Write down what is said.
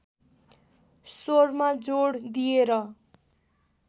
स्वरमा जोड दिएर